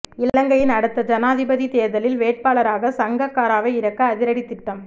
இலங்கையின் அடுத்த ஜனாதிபதித் தேர்தலில் வேட்பாளராக சங்கக்காராவை இறக்க அதிரடி திட்டம்